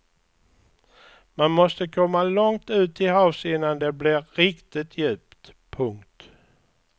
Man måste komma långt ut till havs innan det blir riktigt djupt. punkt